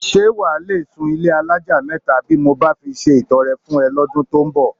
S̩e wà á le sùn ilé alájà mé̩ta bí mo bá fi se ìto̩re̩ fún e̩ ló̩dún tó ń bò̩?